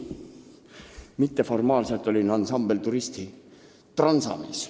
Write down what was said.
Mitteformaalselt olin ansambli Turist transamees.